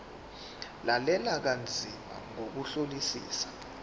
lalela kanzima ngokuhlolisisa